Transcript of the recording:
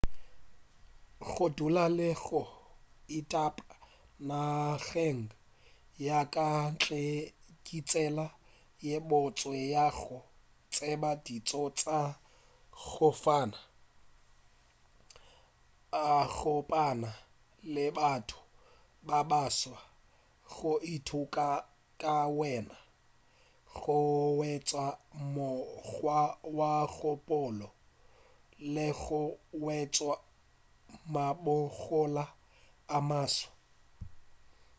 go dula le go ithaopa nageng ya ka ntle ke tsela ye botse ya go tseba ditšo tša go fapana go kopana le batho ba baswa go ithuta ka wena go hwetša mokgwa wa kgopolo le go hwetša mabokgoni a maswa